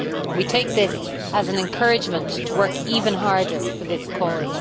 We take this as an encouragement to work even harder for this cause.